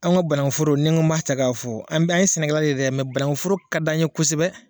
An ka bananku foro ne ko ma ta k'a fɔ an bɛ an ɲe sɛnɛkɛla de ye dɛ bananku foro ka di an ye kosɛbɛ.